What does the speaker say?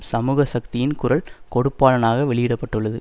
சமூக சக்தியின் குரல் கொடுப்பாளானாக வெளியிட பட்டுள்ளது